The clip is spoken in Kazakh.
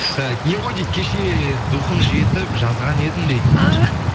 ы не ғой дейді кеше духым жетіп жазған едім дейді ааа